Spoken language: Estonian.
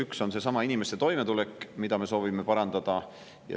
Üks on seesama inimeste toimetulek, mida me soovime parandada.